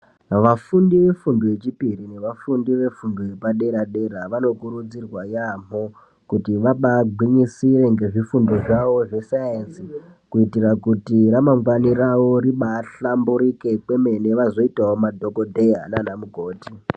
Vafundi vefundo yechipiri nevafundi vefundo yepadera dera vanokurudzirwa yaambo kuti vabagwinyisire nezvifundo zvawo zveSaenzi ,kuti ramangwani rawo ribahlamburike vazoitawo madhokodheya nanamukoti.